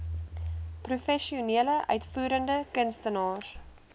professionele uitvoerende kunstenaars